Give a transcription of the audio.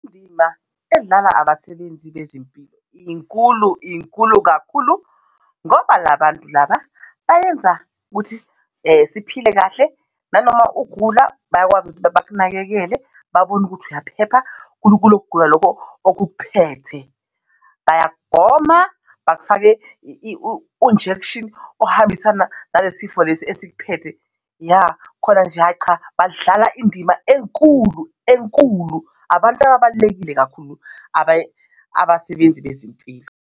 Indima edlalwa abasebenzi bezempilo inkulu, inkulu kakhulu ngoba la bantu laba bayenza ukuthi siphile kahle nanoma ugula bayakwazi ukuthi bakunakekele babone ukuthi uyaphepha kulo kulokho kugula lokho okukuphethe bayagoma bakufake i-injection ohambisana nale sifo lesi esikuphethe ya khona nje hhayi cha badlala indima enkulu enkulu. Abantu ababalulekile kakhulu abasebenzi bezempilo.